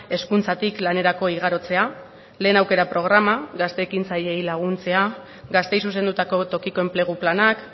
hezkuntzatik lanerako igarotzea lehen aukera programa gazte ekintzaileei laguntzea gazteei zuzendutako tokiko enplegu planak